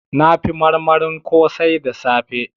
Na fi marmarin kosai da safe